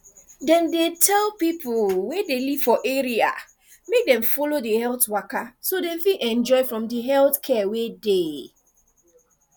dem dey tell people way dey live for area make dem follow the health waka so dem fit enjoy from the health care way dey